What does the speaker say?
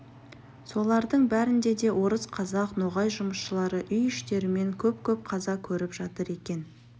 солардың бәрінде де орыс қазақ ноғай жұмысшылары үй іштерімен көп-көп қаза көріп жатыр екен